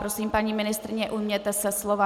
Prosím, paní ministryně, ujměte se slova.